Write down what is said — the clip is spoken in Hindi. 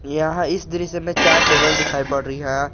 यहां इस दृश्य में चार टेबल दिखाई पड़ रही है।